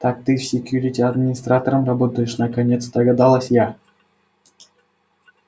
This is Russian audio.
так ты в секьюрити администратором работаешь наконец догадалась я